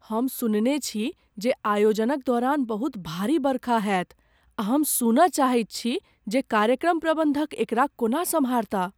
हम सुनने छी जे आयोजनक दौरान बहुत भारी बरखा होयत आ हम सुनय चाहैत छी जे कार्यक्रम प्रबंधक एकरा कोना सम्हारता।